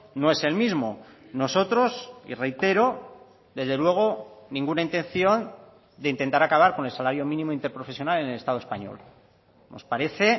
no es el mismo nosotros y reitero desde luego ninguna intención de intentar acabar con el salario mínimo interprofesional en el estado español nos parece